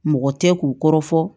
Mɔgɔ tɛ k'u kɔrɔ fɔ